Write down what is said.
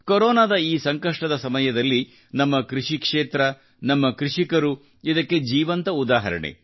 ಕೊರೊನಾಸಂಕಷ್ಟದ ಈ ಸಮಯದಲ್ಲಿ ನಮ್ಮ ಕೃಷಿ ಕ್ಷೇತ್ರ ನಮ್ಮ ಕೃಷಿಕರು ಇದಕ್ಕೆ ಜೀವಂತ ಉದಾಹರಣೆ